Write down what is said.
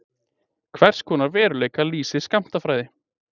Hvers konar veruleika lýsir skammtafræði?